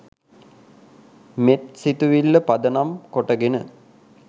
මෙත් සිතිවිල්ල පදනම් කොටගෙන